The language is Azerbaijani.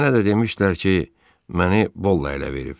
mənə də demişdilər ki, məni Bolla ələ verib.